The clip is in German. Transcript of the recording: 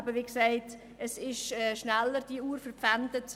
Denn, wie gesagt, die Uhr ist schnell verpfändet.